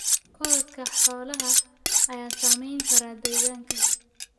Korodhka xoolaha ayaa saamayn kara deegaanka.